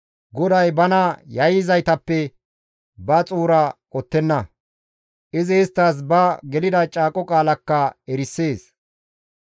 GODAY bana yayyizaytappe ba xuura qottenna; izi isttas ba gelida caaqo qaalakka erisees.